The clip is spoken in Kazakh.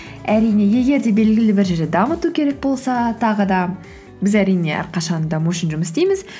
әрине егер де белгілі бір жерде дамыту керек болса тағы да біз әрине әрқашан даму үшін жұмыс істейміз